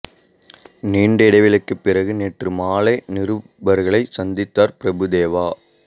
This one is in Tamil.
நீண்ட இடைவெளிக்குப் பிறகு நேற்று மாலை நிருபர்களைச் சந்தித்தார் பிரபு தேவா